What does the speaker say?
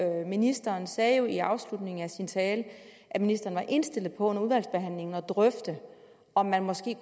ministeren sagde jo i afslutningen af sin tale at ministeren var indstillet på under udvalgsbehandlingen at drøfte om der måske